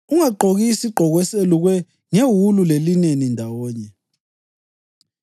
Ungagqoki isigqoko eselukwe ngewulu lelineni ndawonye.